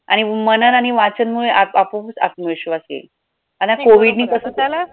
आणि मनन आणि वाचनमुळे आप आपोपच आत्मविश्वास येईल आणि COVID नी कसं